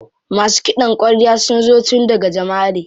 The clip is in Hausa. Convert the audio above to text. Masu ƙidan kwarya sun zo tun daga Jamaʼare.